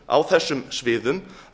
á þessum sviðum